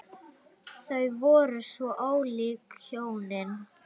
Þau voru svo ólík hjónin.